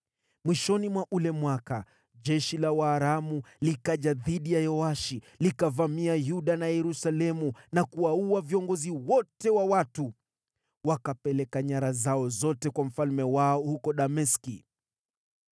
Mwishoni mwa ule mwaka, jeshi la Waaramu likaja dhidi ya Yoashi, likavamia Yuda na Yerusalemu na kuwaua viongozi wote wa watu. Wakapeleka nyara zao zote kwa mfalme wao huko Dameski.